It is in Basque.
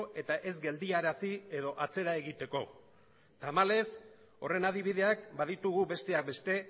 eta ez geldiarazi edo atzera egiteko tamalez horren adibideak baditugu besteak beste